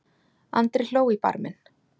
Andri hló í barminn.